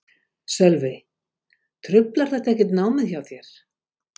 Sölvi: Truflar þetta ekkert námið hjá þér?